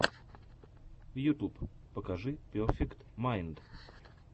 ютьюб покажи перфект майнд